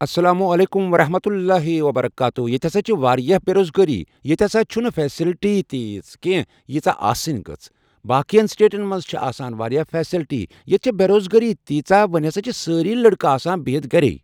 السلام عليكم ورحمة الله وبركاته ییٚتہِ ہسا چھ واریاہ بے روزگٲری ییٚتہِ ہسا چھُنہٕ فیسلٹی تیٖژہ کینٛہہ ییٖژہ آسٕنۍ گٔژھ باقیَن سٹیٹن منٛز چھِ آسان واریاہ فیصلٹی ییٚتہِ چھِ بے روزگٲری تیٖژاہ وۄنۍ ہسا چھِ سٲری لڑکہٕ آسان بِہِتھ گرے